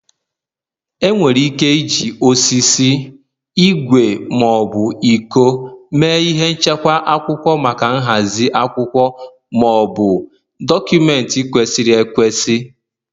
Enwere ike iji osisi, ígwè ma ọ bụ iko mee ihe nchekwa akwụkwọ maka nhazi akwụkwọ Maọbụ, dọkụmentị kwesịrị ekwesị